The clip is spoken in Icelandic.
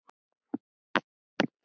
Og finnst enn.